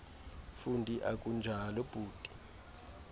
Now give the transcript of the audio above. fundi akunjalo bhuti